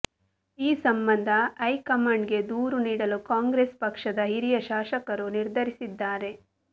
ಈ ಸಂಬಂಧ ಹೈಕಮಾಂಡ್ಗೆ ದೂರು ನೀಡಲು ಕಾಂಗ್ರೆಸ್ ಪಕ್ಷದ ಹಿರಿಯ ಶಾಸಕರು ನಿರ್ಧರಿಸಿದ್ದಾರೆ